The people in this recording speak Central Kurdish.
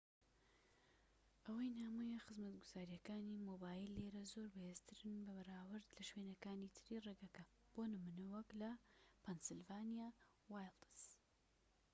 ئەوەی نامۆیە خزمەتگوزاریەکانی مۆبایل لێرە زۆر بەهێزترن بەراورد بە شوێنەکانی تری ڕێگەکە بۆ نمونە وەك لە پەنسیلڤانیا وایڵدس